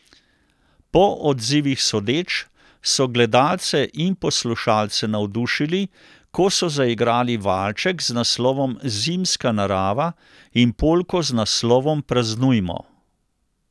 Po odzivih sodeč so gledalce in poslušalce navdušili, ko so zaigrali valček z naslovom Zimska narava in polko z naslovom Praznujmo.